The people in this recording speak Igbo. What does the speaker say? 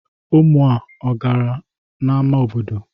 Ụmụ a gara n'ama obodo?